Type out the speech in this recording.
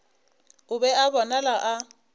o be a bonala a